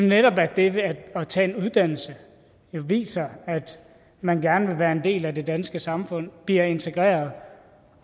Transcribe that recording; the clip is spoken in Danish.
netop at det at tage en uddannelse viser at man gerne vil være en del af det danske samfund blive integreret